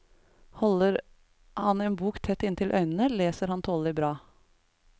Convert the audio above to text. Holder han en bok tett inntil øynene, leser han tålelig bra.